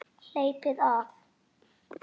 Hleypið af!